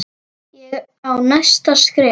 Ég á næsta skref.